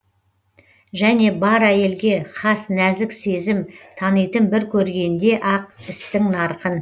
және бар әйелге хас нәзік сезім танитын бір көргенде ақ істің нарқын